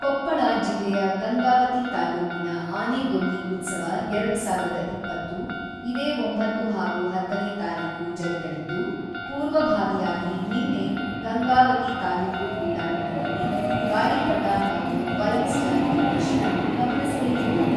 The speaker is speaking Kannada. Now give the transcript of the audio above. ಕೊಪ್ಪಳ ಜಿಲ್ಲೆಯ ಗಂಗಾವತಿ ತಾಲೂಕಿನ ಆನೆಗೊಂದಿ ಉತ್ಸವ ಎರಡು ಸಾವಿರದ ಇಪ್ಪತ್ತು ಇದೇ ಒಂಬತ್ತು ಹಾಗೂ ಹತ್ತನೇ ತಾರೀಖು ಜರುಗಲಿದ್ದು, ಪೂರ್ವಭಾವಿಯಾಗಿ ನಿನ್ನೆ, ಗಂಗಾವತಿ ತಾಲೂಕು ಕ್ರೀಡಾಂಗಣದಲ್ಲಿ ಗಾಳಿಪಟ ಹಾಗೂ ಬೈಕ್ ಸ್ಟಂಟ್ ಪ್ರದರ್ಶನ ಗಮನಸೆಳೆಯಿತು.